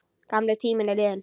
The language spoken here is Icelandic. Gamli tíminn er liðinn.